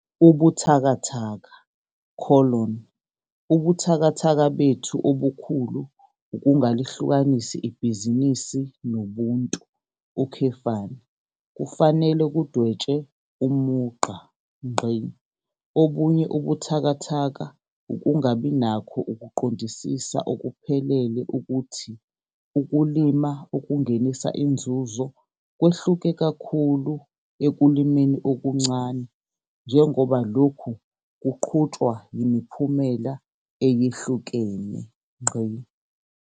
Ubuthakathaka - Ubuthakathaka bethu obukhulu ukungalihlukanisi ibhizinisi noBuntu, kufanele kudwetshwe umugqa. Obunye ubuthakathaka ukungabi nakho ukuqondisisa okuphelele ukuthi ukulima okungenisa inzuzo kwehluke kakhulu ekulimeni okuncane njengoba lokhu kuqhutshwa yimiphumela eyehlukene.